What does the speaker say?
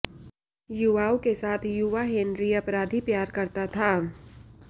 युवाओं के साथ युवा हेनरी अपराधी प्यार करता था